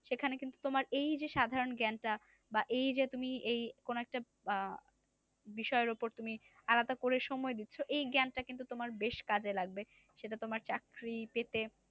সেখানে কিন্তু তোমার এই যে সাধারণ জ্ঞানটা বা এই যে তুমি এই কোন একটা আহ বিষয়ের ওপর তুমি আলাদা করে সময় দিচ্ছো এই জ্ঞান টা কিন্তু তোমার বেশ কাজে লাগবে। সেটা তোমার চাকরি পেতে